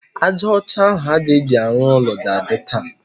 Ájá ọcha ahụ a ga-eji arụ ụlọ ga-adị taa.